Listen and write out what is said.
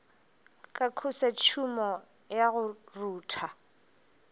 ka khosetšhumo ya go rutha